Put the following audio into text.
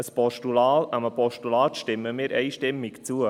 Einem Postulat stimmen wir einstimmig zu.